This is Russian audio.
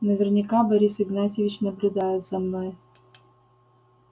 наверняка борис игнатьевич наблюдает за мной